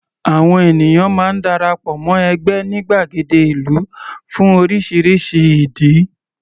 Àwọn ènìyàn máa ń dara pọ̀ mọ́ ẹgbẹ́ ní gbàgede ìlú fún oríṣiríṣi ìdí.